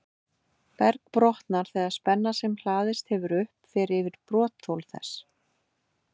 Berg brotnar þegar spenna sem hlaðist hefur upp, fer yfir brotþol þess.